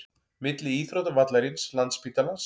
Milli íþróttavallarins, landsspítalans